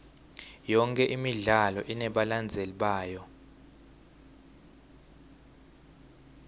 yonke imidlalo inebalandzeli bayo